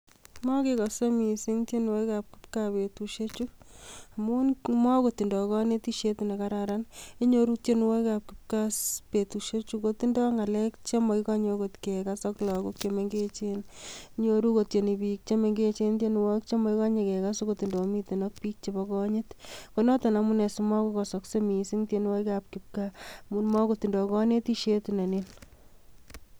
Mokekose missing tienwogiikab kipgaa betusiechu, amun mokotindoi konetishiet nekararan. Inyooru tienwogiikab kipgaa betusiechu kotindoi ng'alek chemokikose okot kekas ak lakook chemengechen. Inyooru kotieni biik che mengechen tienwogiik, chemokikonyee kekas akot indomiten ak bik chemokinyiit. Konoton amune simokokosoksei missing tienwogikab kipgaa amun mokotindoi konetishiet neniin.